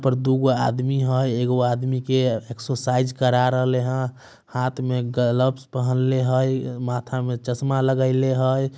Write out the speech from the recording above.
इधर दू गो आदमी हय। एक गो आदमी के एक्सर्साइज़ करा रहले हय। हाथ में ग्लव्स पहनले है। माथा में चश्मा लगाएले हय।